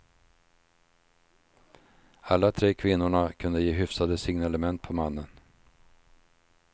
Alla tre kvinnorna kunde ge hyfsade signalement på mannen.